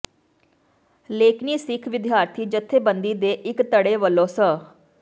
ਲੇਕਨਿ ਸਿੱਖ ਵਿਦਿਆਰਥੀ ਜਥੇਬੰਦੀ ਦੇ ਇੱਕ ਧੜੇ ਵੱਲੋਂ ਸ